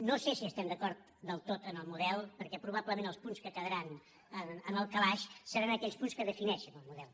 no sé si estem d’acord del tot amb el model perquè probablement els punts que quedaran en el calaix seran aquells punts que defineixen el model